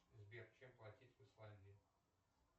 сбер чем платить в исландии